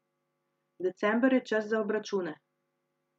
December je čas za obračune.